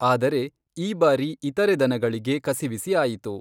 ಆದರೆ, ಈ ಬಾರಿ ಇತರೆ ದನಗಳಿಗೆ ಕಸಿವಿಸಿ ಆಯಿತು.